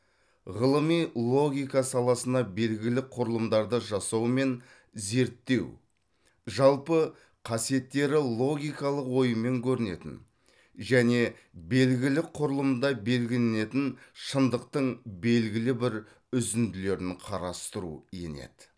ғылыми логика саласына белгілі құрылымдарды жасау мен зерттеу жалпы касиеттері логикалық оймен көрінетін және белгілі құрылымда белгіленетін шындықтың белгілі бір үзінділерін қарастыру енеді